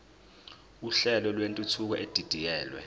uhlelo lwentuthuko edidiyelwe